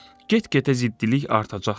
Get-gedə ziddilik artacaqdır.